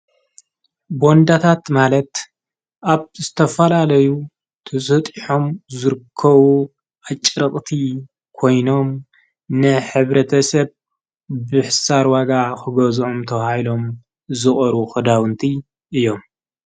ቦንዳታት ማለት ኣብ ስተፋላለዩ ትጽጢሖም ዙርከዉ ኣጭረቕቲ ኮይኖም ንኅብረተሰብ ብሕሳርዋጋ ኽጐዝኦምተ ሃይሎም ዝቕሩ ኽዳውንቲ እዮም።